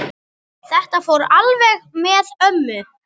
Þetta fór alveg með ömmu.